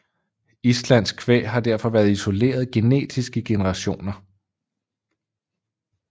Islandsk kvæg har derfor været isoleret genetisk i generationer